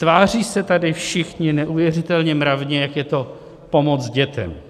Tváří se tady všichni neuvěřitelně mravně, jak je to pomoc dětem.